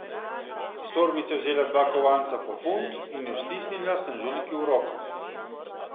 Iz torbice je vzela dva kovanca po funt in ju stisnila snažilki v roko.